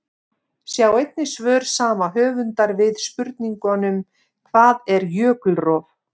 Sjá einnig svör sama höfundar við spurningunum: Hvað er jökulrof?